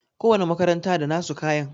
Ko wani makaranta da nasu kayan